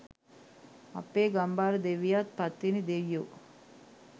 අපෙ ගම්භාර දෙවියොත් පත්තිනි දෙයියෝ